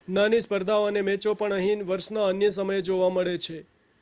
નાની સ્પર્ધાઓ અને મેચો પણ અહીં વર્ષના અન્ય સમયે જોવા મળે છે